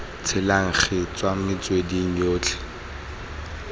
tshelang gi tswa metsweding yotlhe